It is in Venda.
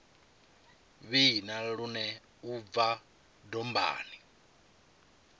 vhina lune u bva dombani